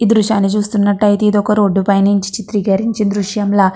ఈ దృశ్యాన్ని చూస్తున్నట్టయితే ఇది ఒక రోడ్డు పై నుంచి చిత్రీకరించిన దృశ్యంలా --